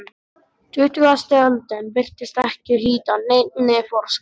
Tuttugasta öldin virtist ekki hlíta neinni forskrift.